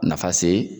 Nafa se